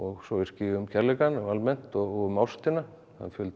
svo yrki ég um kærleikann almennt og um ástina það er fjöldi af